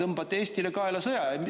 Te tõmbate Eestile kaela sõja!